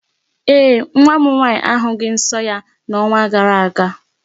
Ee, nwa m nwaanyị ahụghị nsọ ya n'ọnwa gara aga.